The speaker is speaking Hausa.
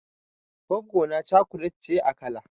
Goggona chocolate ce a kala.